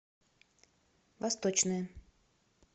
восточное